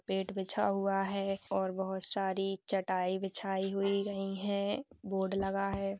पेट बिछा हुआ है और बहुत सारी चटाई बिछाई हुई गई हैं। बोर्ड लगा है।